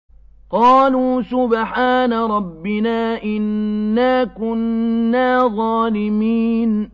قَالُوا سُبْحَانَ رَبِّنَا إِنَّا كُنَّا ظَالِمِينَ